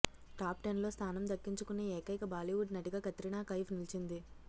టాప్టెన్లో స్థానం దక్కించుకున్న ఏకైక బాలీవుడ్ నటిగా కత్రినా కైఫ్ నిలిచింది